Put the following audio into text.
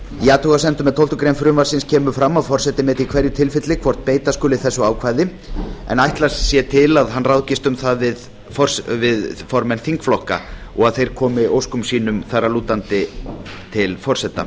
í athugasemdum með tólfta grein frumvarpsins kemur fram að forseti meti í hverju tilfelli hvort beita skuli þessu ákvæði en ætlast sé til þess að hann ráðgist um það við formenn þingflokka og að þeir komi óskum sínum þar að lútandi til forseta